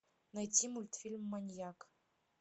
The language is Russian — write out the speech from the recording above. найти мультфильм маньяк